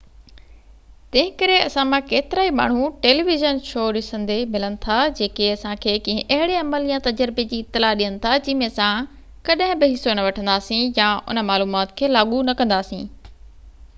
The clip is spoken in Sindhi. تنهنڪري اسان مان ڪيترائي ماڻهو ٽيلي ويزن شو ڏسندي ملن ٿا جيڪي اسان کي ڪنهن اهڙي عمل يا تجربي جي اطلاع ڏين ٿا جنهن ۾ اسان ڪڏهن بہ حصو نہ وٺنداسين يا ان معلومات کي لاڳو نہ ڪنداسين